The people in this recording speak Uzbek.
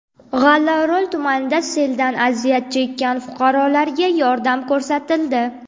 G‘allaorol tumanida seldan aziyat chekkan fuqarolarga yordam ko‘rsatildi .